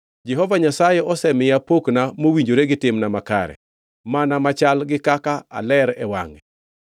Jehova Nyasaye osemiya pokna mowinjore gi timna makare, mana machal gi kaka aler e wangʼe.